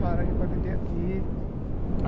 Laranja para vender aqui.